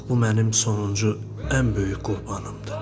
Bax bu mənim sonuncu ən böyük qurbanımdır.